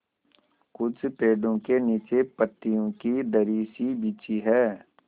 कुछ पेड़ो के नीचे पतियो की दरी सी बिछी है